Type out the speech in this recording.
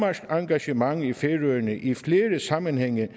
engagement i færøerne i flere sammenhænge